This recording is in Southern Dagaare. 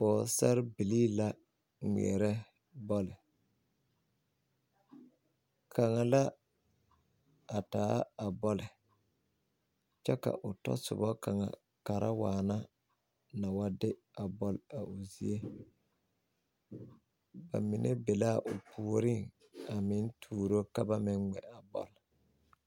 Pɔgesarebilii la ŋmeɛrɛ bɔl kaŋa la a taa a bɔl kyɛ ka o tasoba kaŋa kara waana na wa de a bɔl a o zie ba mine be la a o puoriŋ a meŋ tuuro ka ba meŋ ŋmɛ a bɔl.